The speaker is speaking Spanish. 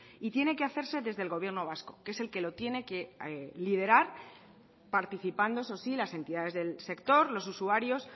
y tiene que hacerse desde el gobierno vasco que es el que lo tiene que liderar participando eso sí las entidades del sector los usuarios